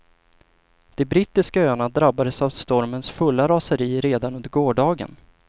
De brittiska öarna drabbades av stormens fulla raseri redan under gårdagen.